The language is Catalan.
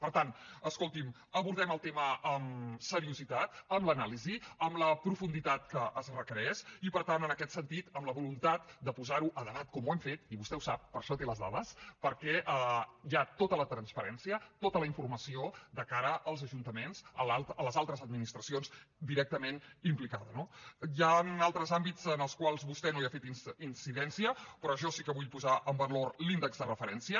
per tant escolti’m abordem el tema amb seriositat amb l’anàlisi amb la profunditat que es requereix i per tant en aquest sentit amb la voluntat de posar ho a debat com ho hem fet i vostè ho sap per això en té les dades perquè hi ha tota la transparència tota la informació de cara als ajuntaments a les altres administracions directament implicades no hi han altres àmbits en els quals vostè no ha fet incidència però jo sí que vull posar en valor l’índex de referència